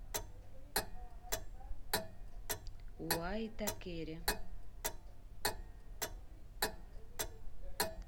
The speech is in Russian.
уаитакере